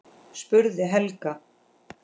spurði Helga.